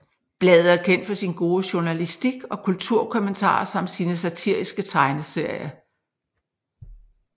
Bladet er kendt for sin gode journalistik og kulturkommentarer samt sine satariske tegneserier